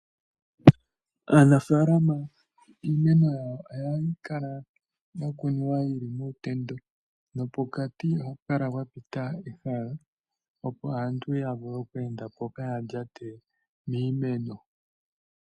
Aanafaalama iimeno yawo ohayi kala ya kunwa yi li muutendo nopokati ohapu kala pwa pita ehala, opo aantu ya vule oku enda po kaya lyate miimeno.